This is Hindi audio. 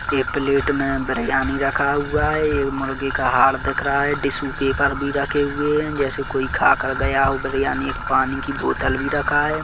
ये प्लेट में बिरयानी रखा हुआ है ये मुर्गे का हाड़ दिख रहा है टीसू पेपर भी रखे हुए है जैसे कोई खा कर गया हो बिरयानी एक पानी की बोतल भी रखा हैं।